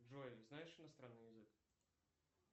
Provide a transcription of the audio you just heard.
джой знаешь иностранный язык